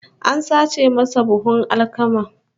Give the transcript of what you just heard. An sace masa buhun alkama